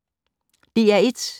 DR1